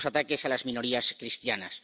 Los ataques a las minorías cristianas.